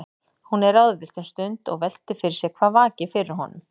Hún er ráðvillt um stund og veltir fyrir sér hvað vaki fyrir honum.